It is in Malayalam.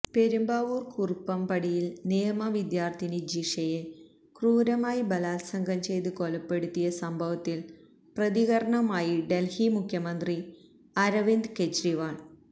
പെരുമ്പാവൂർ കുറുപ്പംപടിയിൽ നിയമവിദ്യാർത്ഥിനി ജിഷയെ ക്രൂരമായി ബലാല്സംഗം ചെയ്ത് കൊലപ്പെടുത്തിയ സംഭവത്തില് പ്രതികരണവുമായി ഡല്ഹി മുഖ്യമന്ത്രി അരവിന്ദ് കെജ്രിവാള്